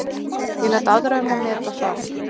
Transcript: Ég læt aðra um að meta það.